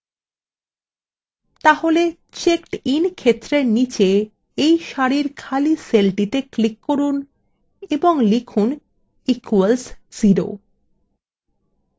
তাহলে checkedin ক্ষেত্রের নীচে এই সারির খালি সেলটিতে click করুন